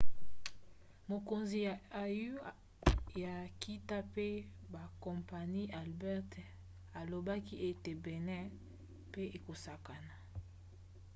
mokonzi ya au ya nkita mpe bakompani albert muchange alobaki ete benin mpe ekosangana